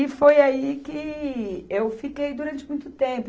E foi aí que eu fiquei durante muito tempo.